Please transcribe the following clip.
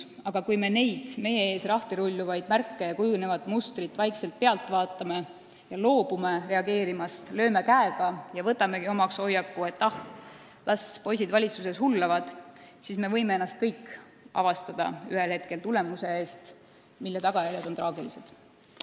Aga kui me neid meie ees lahtirulluvaid märke ja kujunevat mustrit vaikselt pealt vaatame ja loobume reageerimast, lööme käega ning võtamegi omaks hoiaku, et las poisid valitsuses hullavad, siis me kõik võime ennast ühel hetkel avastada olukorras, mille tagajärjed on traagilised.